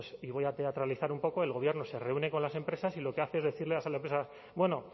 y voy a teatralizar un poco el gobierno se reúne con las empresas y lo que hace es decirles a la empresa bueno